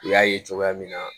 U y'a ye cogoya min na